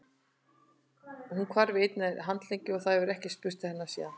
Hún hvarf í einni landlegunni og það hefur ekkert spurst til hennar síðan.